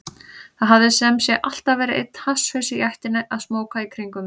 Það hafði sem sé alltaf verið einn hasshaus í ættinni að smóka í kringum mig.